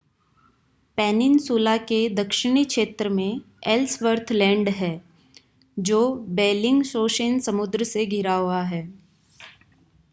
peninsula के दक्षिणी क्षेत्र में एल्सवर्थ लैंड है जो बेल्लिंगशॉसेन समुद्र से घिरा हुआ है